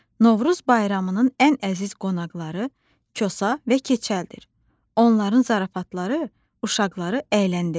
Novruz bayramının ən əziz qonaqları Kosa və Keçəldir, onların zarafatları uşaqları əyləndirir.